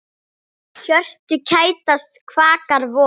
Hjörtu kætast, kvakar vor.